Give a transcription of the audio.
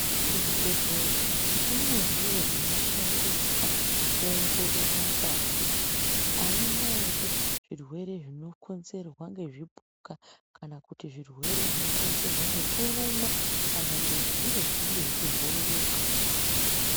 Muzvibhedhlera mune zviro zvinoshandiswa kuongorora ngazi kuti haina ere zvirwere zvinokonzerwa ngezvipuka kana kuti zvirwere zvinokonzerwa ngekurumwa kana ngezviro zvinenge zvechibhururuka.